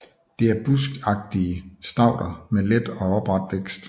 Det er buskagtige stauder med let og opret vækst